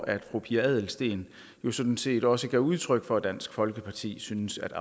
at fru pia adelsteen jo sådan set også gav udtryk for at dansk folkeparti synes at